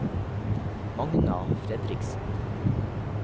Magna Fredriksen